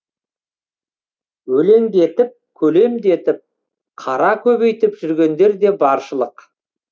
өлеңдетіп көлемдетіп қара көбейтіп жүргендер де баршылық